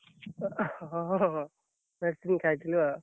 ହଁ ହଁ, medicine ଖାଇଥିଲି ଆଉ।